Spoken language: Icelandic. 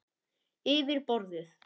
Yfir borðið.